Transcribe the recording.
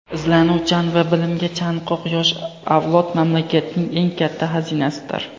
Izlanuvchan va bilimga chanqoq yosh avlod mamlakatning eng katta xazinasidir.